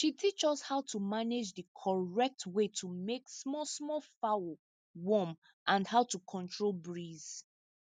she teach us how to manage the correct way to make small small fowl warm and how to control breeze